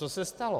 Co se stalo?